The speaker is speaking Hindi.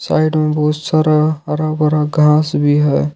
साइड में बहुत सारा हरा भरा घास भी है।